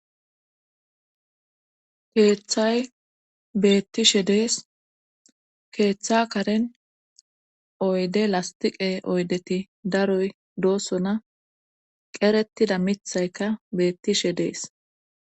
keeththay beettishe dees keeththa karen oyde lastiqe oydeti daroy doosona qeretida mithayka beettishe dees